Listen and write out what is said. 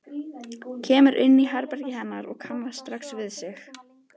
Kemur inn í herbergið hennar og kannast strax við sig.